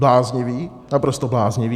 Bláznivý, naprosto bláznivý.